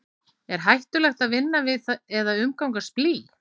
er hættulegt að vinna við eða umgangast blý